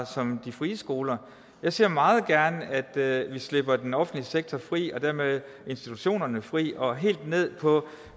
som de frie skoler jeg ser meget gerne at vi slipper den offentlige sektor fri og dermed institutionerne fri og det er helt ned på